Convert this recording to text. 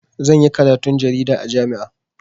Zan yi karatun jarida a jami'a.